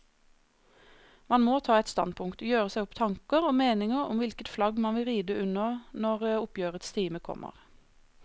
Man må ta et standpunkt, gjøre seg opp tanker og meninger om hvilket flagg man vil ride under når oppgjørets time kommer.